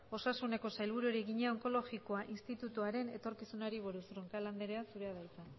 osasuneko sailburuari egina onkologikoa institutuaren etorkizunari buruz roncal anderea zurea hitza